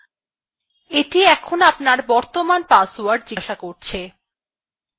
এটি আপনার বর্তমান password জিজ্ঞাসা করছে